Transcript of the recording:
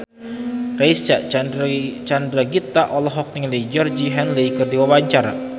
Reysa Chandragitta olohok ningali Georgie Henley keur diwawancara